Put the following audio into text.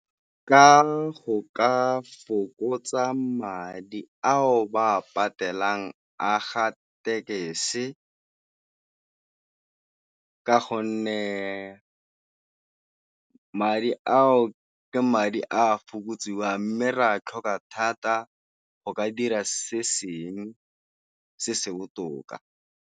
Ka go ka fokotsa madi ao ba patelang a ga ka gonne madi a o ke madi a fokotsiwang, mme re a tlhoka thata go ka dira se seng se se botoka.